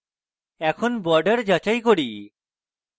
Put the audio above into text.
এখন borders যাচাই করি